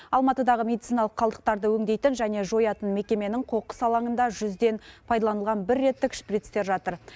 алматыдағы медициналық қалдықтарды өңдейтін және жоятын мекеменің қоқыс алаңында жүзден пайдаланылған бір реттік шприцтер жатыр